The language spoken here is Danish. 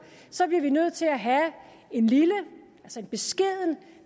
så bliver vi nødt til at have en lille en beskeden